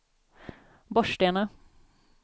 Borgstena